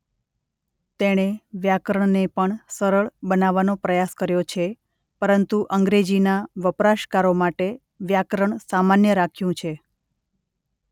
તેણે વ્યાકરણને પણ સરળ બનાવવાનો પ્રયાસ કર્યો છે પરંતુ અંગ્રેજીના વપરાશકારો માટે વ્યાકરણ સામાન્ય રાખ્યું છે.